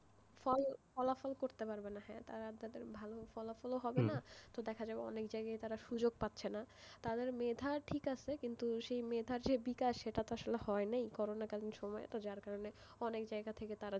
ভালো ফলাফল করতে পারবে না তাদের ভালো ফলাফল হবে না তো দেখা যাবে অনেক জায়গায তারা সুযোগ পাচ্ছেনা তাদের মেধা ঠিক আছে কিন্তু মেধার যে ই বিকাশ সেটাতো আসোলে হয় নাই করোনা কালীন সময়েতো অনেক জায়গা থেকে তারা,